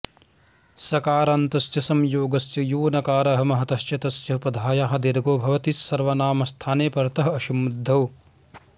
सकारान्तस्य संयोगस्य यो नकारः महतश्च तस्य उपधायाः दीर्घो भवति सर्वनामस्थाने परतः असम्बुद्धौ